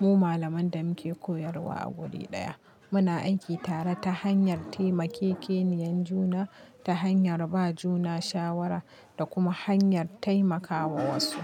mu malaman da muke koyarwa a guri ɗaya. Muna aiki tare ta hanyar taimakekeniyar juna, ta hanyar ba juna shawara da kuma hanyar taimakawa wasu.